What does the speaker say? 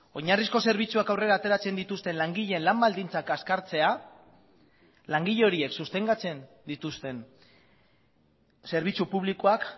oinarrizko zerbitzuak aurrera ateratzen dituzten langileen lan baldintzak kaskartzea langile horiek sostengatzen dituzten zerbitzu publikoak